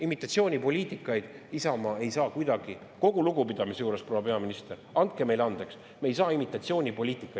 Imitatsioonipoliitikaid Isamaa ei saa kuidagi, kogu lugupidamise juures – proua peaminister, andke meile andeks!